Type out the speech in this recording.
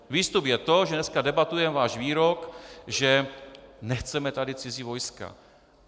Výstup je to, že dneska debatujeme váš výrok, že nechceme tady cizí vojska.